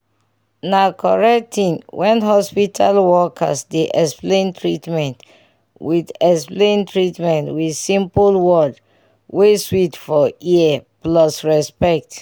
na correct tin' when hospital workers dey explain treatment with explain treatment with simple word wey sweet for ear plus respect.